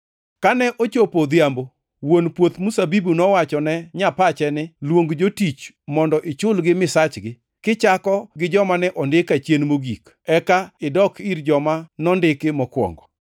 “Kane ochopo odhiambo, wuon puoth mzabibu nowachone nyapache ni, ‘Luong jotich mondo ichulgi misachgi, kichako gi joma ne ondiki achien mogik, eka idok ir joma nondiki mokwongo.’